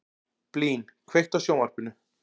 Blín, kveiktu á sjónvarpinu.